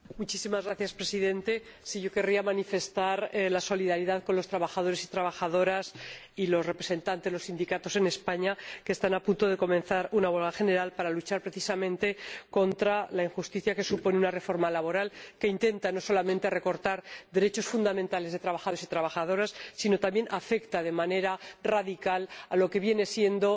Señor Presidente, yo querría expresar la solidaridad con los trabajadores y trabajadoras y los representantes de los sindicatos en España, que están a punto de comenzar una huelga general para luchar, precisamente, contra la injusticia que supone una reforma laboral que intenta no solamente recortar derechos fundamentales de trabajadores y trabajadoras sino que también afecta de manera radical a lo que viene siendo